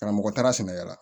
Karamɔgɔ taara sɛnɛkɛla